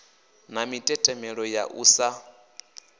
na mitetemelo ya u sa